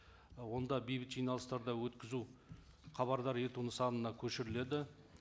ы онда бейбіт жиналыстарды өткізу хабардар ету нысанына көшіріледі